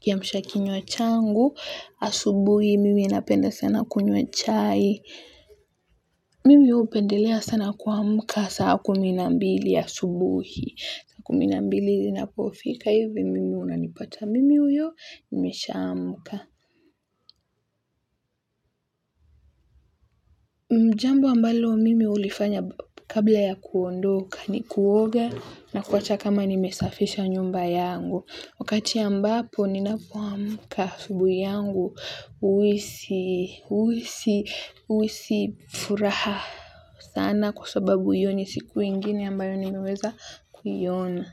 kiamsha kinywa changu, asubuhi mimi napenda sana kunywa chai, mimi jupendelea sana kuamka saa kumi na mbili asubuhi, saa kumi na mbili zinapofika hivi mimi unanipata mimi huyo nimeshaamka. Jambo ambalo mimi ulifanya kabla ya kuondoka ni kuoga na kuacha kama nimesafisha nyumba yangu. Wakati ambapo ninapoamka asubuhi yangu uhisi uhisi furaha sana kwa sababu hiyo siku ingine ambayo nimeweza kuiona.